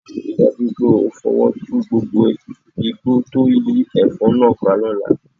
Rí i dájú pé o fọwọ́ tu gbogbo igbó tó yí ẹ̀fọ́ náà ká lọ́la